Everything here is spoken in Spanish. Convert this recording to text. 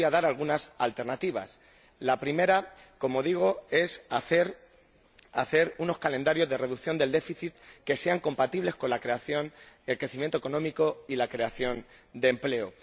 Yo le voy a dar algunas alternativas la primera, como digo, es hacer unos calendarios de reducción del déficit que sean compatibles con el crecimiento económico y la creación de empleo.